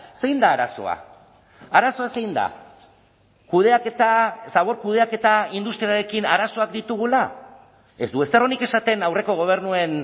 zein da arazoa arazoa zein da kudeaketa zabor kudeaketa industrialarekin arazoak ditugula ez du ezer onik esaten aurreko gobernuen